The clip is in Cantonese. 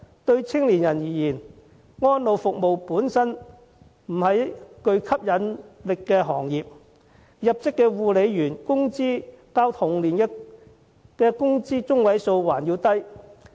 對青年人而言，安老服務本身不是具吸引力的行業，入職護理員的工資較同齡的工資中位數為低。